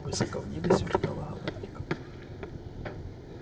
высоко в небе сверкала галактика